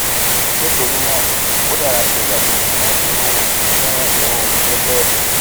nítorí náà ó dára kí o yàgò fún irú fún irú iṣẹ́ bẹ́ẹ̀